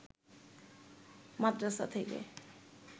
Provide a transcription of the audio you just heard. মাদরাসা থেকে